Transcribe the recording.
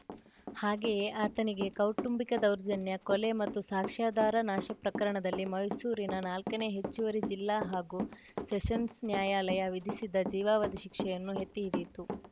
ಹಾಗೆಯೇ ಆತನಿಗೆ ಕೌಟುಂಬಿಕ ದೌರ್ಜನ್ಯ ಕೊಲೆ ಮತ್ತು ಸಾಕ್ಷ್ಯಾಧಾರ ನಾಶ ಪ್ರಕರಣದಲ್ಲಿ ಮೈಸೂರಿನ ನಾಲ್ಕನೇ ಹೆಚ್ಚುವರಿ ಜಿಲ್ಲಾ ಹಾಗೂ ಸೆಷನ್ಸ್‌ ನ್ಯಾಯಾಲಯ ವಿಧಿಸಿದ್ದ ಜೀವಾವಧಿ ಶಿಕ್ಷೆಯನ್ನು ಎತ್ತಿಹಿಡಿಯಿತು